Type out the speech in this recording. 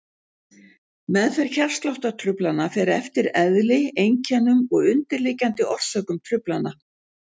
Meðferð hjartsláttartruflana fer eftir eðli, einkennum og undirliggjandi orsökum truflana.